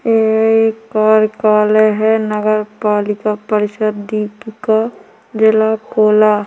एक कार्यालय हैं नगर पालिका परिषद दीप का जिला कोला--